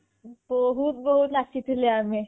ବହୁତ ବହୁତ ନାଚି ଥିଲେ ଆମେ